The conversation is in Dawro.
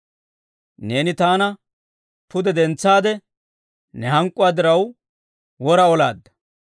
Neeni taana pude dentsaade, ne hank'k'uwaa diraw wora olaadda.